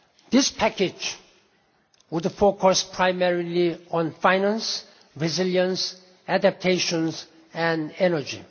This package would focus primarily on finance, resilience, adaptation and energy.